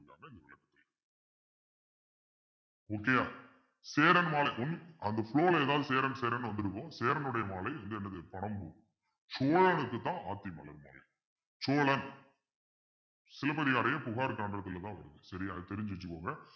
okay யா சேரன்மாலைக்கும் அந்த flow ல ஏதாவது சேரன் சேரன்னு வந்திருக்கும் சேரனுடைய மாலை இந்த பனம்பூ சோழனுக்குத்தான் சோழன் சிலப்பதிகாரம் புகார் கண்டத்துலயும் தான் வரும் சரியா அது தெரிஞ்சு வச்சுக்கோங்க